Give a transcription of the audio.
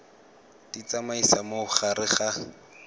di tsamaisa mo gare ga